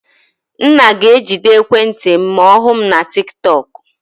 Nna ga-ejide ekwentị m ma ọ hụ m na tiktok.